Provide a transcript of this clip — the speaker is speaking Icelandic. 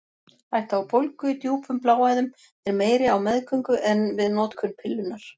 Hætta á bólgu í djúpum bláæðum er meiri á meðgöngu en við notkun pillunnar.